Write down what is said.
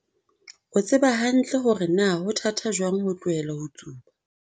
o tseba hantle hore na ho thata jwang ho tlohela ho tsuba.